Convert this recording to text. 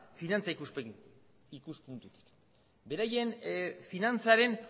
finantza ikuspuntutik beraien finantzaren